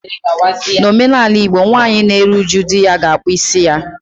N'omenala Igbo, nwaanyị na-eru uju di ya ga-akpụ isi ya